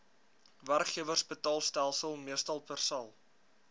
werkgewersbetaalstelsel meestal persal